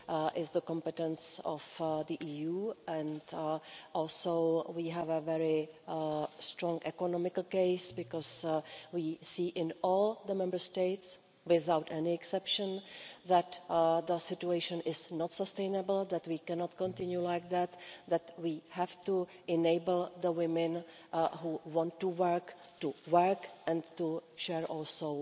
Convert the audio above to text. is the competence of the EU, and also we have a very strong economical case because we see in all the Member States, without any exception, that the situation is not sustainable, that we cannot continue like that, that we have to enable women who want to work to work and to share also